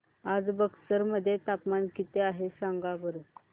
आज बक्सर मध्ये तापमान किती आहे सांगा बरं